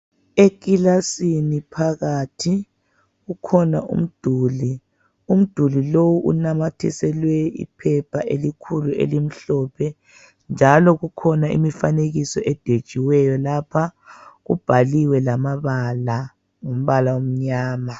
Ekilasini phakathi kukhona umduli. Umduli lo unamathiselwe iphepha elikhulu elimhlophe njalo kukhona imfanekiso edwetshiweyo lapha, ubhaliwe lamabala ngombala omnyama.